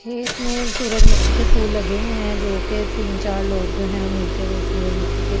खेत में सूरजमुखी के फूल लगे हुए हैं जो कि तीन-चार लोग जो हैं मिलके सूरजमुखी के फूल जो।